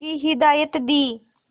की हिदायत दी